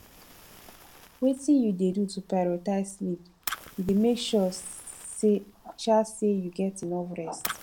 wetin you dey do to prioritze sleep you dey make sure um say you get enough rest